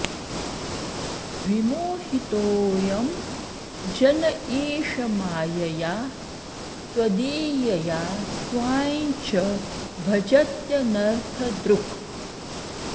विमोहितोऽयं जन ईश मायया त्वदीयया त्वां च भजत्यनर्थदृक्